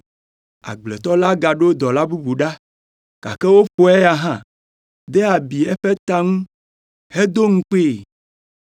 “Agbletɔ la gaɖo dɔla bubu ɖa, gake woƒo eya hã, de abi eƒe ta ŋu, hedo ŋukpee.